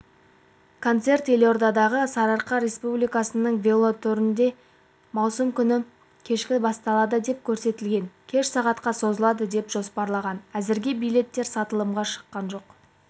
концерт елордадағы сарыарқа республикалық велотрегінде маусым күні кешкі басталады деп көрсетілген кеш сағатқа созылады деп жоспарланған әзірге билеттер сатылымға шыққан жоқ